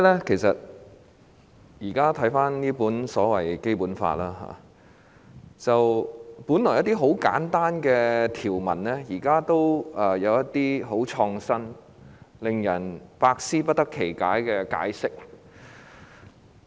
其實，我現在再讀這本《基本法》時，一些本來很簡單的條文，現在卻有很創新、令人百思不得其解的解釋。